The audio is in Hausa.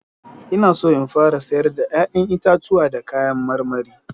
Ina so in fara sayar da 'ya'yan itatuwa da kayan marmari.